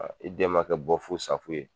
i den ma kɛ bɔ fu sa fu ye